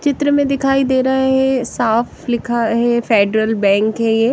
चित्र में दिखाइ दे रहा हैं साफ लिखा है फेडरल बैंक हैं ये।